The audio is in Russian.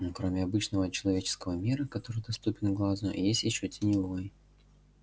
ну кроме обычного человеческого мира который доступен глазу есть ещё теневой